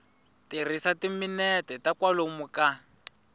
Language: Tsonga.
tirhisa timinete ta kwalomu ka